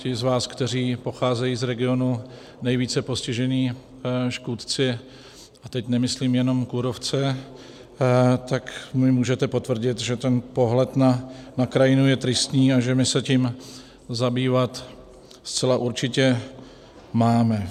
Ti z vás, kteří pocházejí z regionů nejvíce postižených škůdci, a teď nemyslím jenom kůrovce, mi můžete potvrdit, že ten pohled na krajinu je tristní a že my se tím zabývat zcela určitě máme.